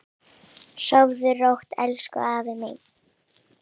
Sofðu rótt elsku afi minn.